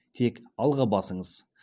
тек алға басыңыз